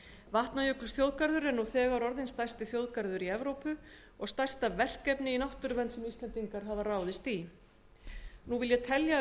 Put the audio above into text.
vatnajökulsþjóðgarður er nú þegar orðinn stærsti þjóðgarður evrópu og stærsta verkefni í náttúruvernd sem íslendingar hafa ráðist í ég vil nú telja